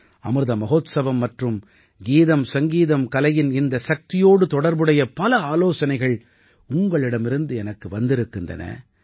அமிர்த மஹோத்சவம் மற்றும் கீதம்சங்கீதம்கலையின் இந்தச் சக்தியோடு தொடர்புடைய பல ஆலோசனைகள் உங்களிடமிருந்து எனக்கு வந்திருக்கின்றன